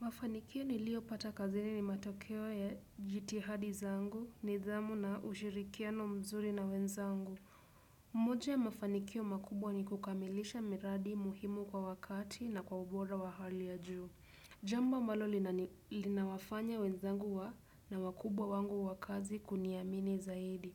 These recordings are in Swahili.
Mafanikio nilio pata kazini ni matokeo ya jitihada zangu nidhamu na ushirikiano mzuri na wenzangu. Moja ya mafanikio makubwa ni kukamilisha miradi muhimu kwa wakati na kwa ubora wa hali ya juu. Jambo ambalo linawafanya wenzangu wa na wakubwa wangu wa kazi kuniamini zaidi.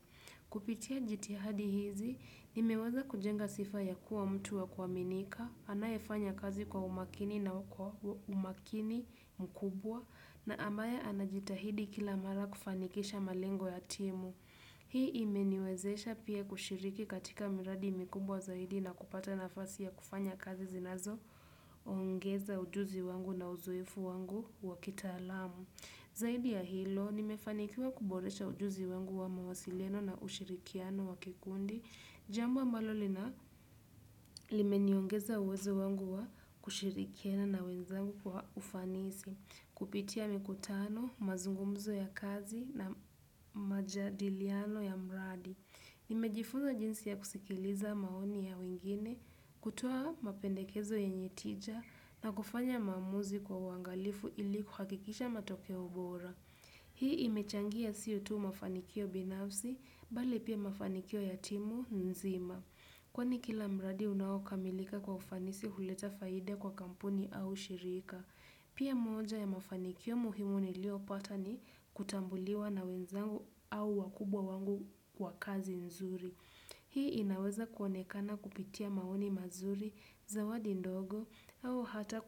Kupitia jitihada hizi, nimeweza kujenga sifa ya kuwa mtu wa kuaminika, anayefanya kazi kwa umakini na kwa umakini mkubwa na amaya anajitahidi kila mara kufanikisha malengo ya timu. Hii imeniwezesha pia kushiriki katika miradi mkubwa zaidi na kupata nafasi ya kufanya kazi zinazo ongeza ujuzi wangu na uzoefu wangu wa kitaalamu. Zaidi ya hilo, nimefanikiwa kuboresha ujuzi wangu wa mawasiliano na ushirikiano wakikundi. Jambo ambalo lina limeniongeza uwezo wangu wa kushirikiana na wenzangu kwa ufanisi, kupitia mikutano, mazungumzo ya kazi na majadiliano ya mradi. Nimejifunza jinsi ya kusikiliza maoni ya wingine, kutoa mapendekezo yenye tija na kufanya maamuzi kwa uangalifu ili kuhakikisha matokeo bora. Hii imechangia sio tu mafanikio binafsi, bali pia mafanikio ya timu nzima. Kwani kila mradi unao kamilika kwa ufanisi huleta faida kwa kampuni au shirika. Pia moja ya mafanikio muhimu nilio pata ni kutambuliwa na wenzangu au wakubwa wangu kwa kazi nzuri. Hii inaweza kuonekana kupitia maoni mazuri, zawadi ndogo au hata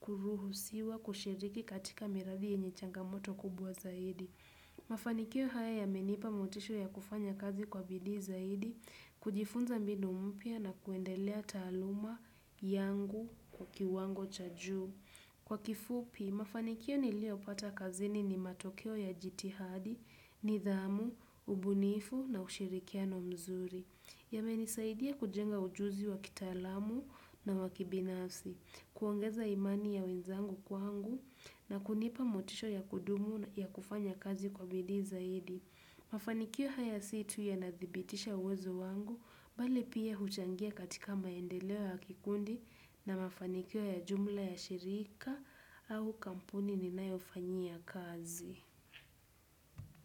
kuruhusiwa kushiriki katika miradi yenye changamoto kubwa zaidi. Mafanikio haya yamenipa motisha ya kufanya kazi kwa bidii zaidi, kujifunza mbinu mpya na kuendelea taaluma yangu kwa kiwango cha juu. Kwa kifupi, mafanikio nilio pata kazini ni matokeo ya jithada, nidhamu, ubunifu na ushirikiano mzuri. Yamenisaidia kujenga ujuzi wakitaalamu na wa kibinafsi, kuongeza imani ya wenzangu kwangu na kunipa motisha ya kudumu ya kufanya kazi kwa bidi zaidi. Mafanikio haya si tu ya nadhibitisha uwezo wangu, bali pia huchangia katika maendeleo ya kikundi na mafanikio ya jumla ya shirika au kampuni ninayo fanyia kazi.